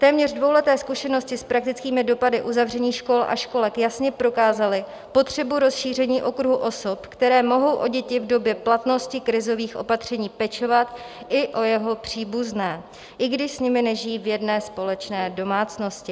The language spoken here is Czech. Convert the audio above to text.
Téměř dvouleté zkušenosti s praktickými dopady uzavření škol a školek jasně prokázaly potřebu rozšíření okruhu osob, které mohou o děti v době platnosti krizových opatření pečovat, i o jejich příbuzné, i když s nimi nežijí v jedné společné domácnosti.